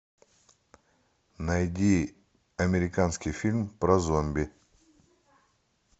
найди американский фильм про зомби